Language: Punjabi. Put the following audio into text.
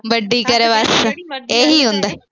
ਵੱਡੀ ਕਰੇ ਬਸ ਇਹ ਹੀ ਹੁੰਦਾ